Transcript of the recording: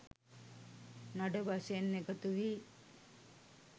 නඩ වශයෙන් එකතු වී